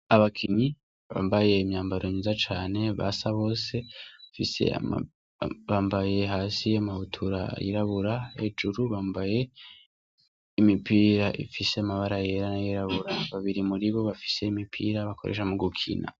Abakinyi bambaye imyambaro myiza cane basa bose se bambaye hasi y'amahutura yirabura hejuru bambaye y'imipira ifise amabara yera n'ayirabura babiri muri bo bafise imipira bakoresha mu gukina.